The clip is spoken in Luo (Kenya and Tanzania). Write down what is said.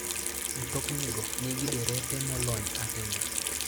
Mtoknigo nigi derepe molony ahinya.